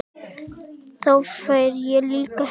Þá fer ég líka heim